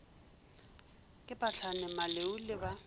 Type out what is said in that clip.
ke phahlane maleu le ba